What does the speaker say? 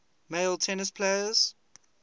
male tennis players